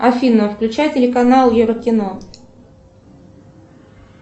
афина включай телеканал еврокино